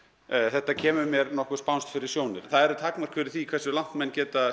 þetta kemur mér spánskt fyrir sjónir það eru takmörk fyrir því hversu langt menn geta